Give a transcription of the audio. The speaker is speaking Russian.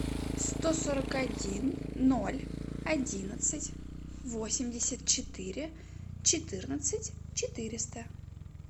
сто сорок один ноль одиннадцать восемьдесят четыре четырнадцать четыреста